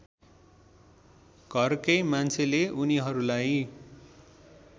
घरकै मान्छेले उनीहरूलाई